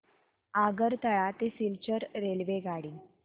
आगरतळा ते सिलचर रेल्वेगाडी